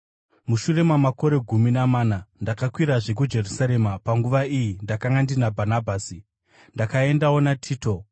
Mushure mamakore gumi namana ndakakwirazve kuJerusarema, panguva iyi ndakanga ndina Bhanabhasi. Ndakaendawo naTito.